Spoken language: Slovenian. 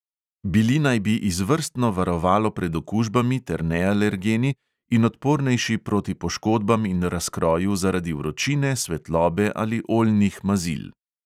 Bili naj bi izvrstno varovalo pred okužbami ter nealergeni in odpornejši proti poškodbam in razkroju zaradi vročine, svetlobe ali oljnih mazil.